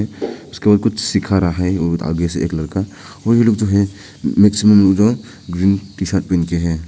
उसको कुछ सीख रहा है और आगे से एक लड़का और ये लोग जो हैं मैक्सिमम लोग ग्रीन टी शर्ट पहन के हैं।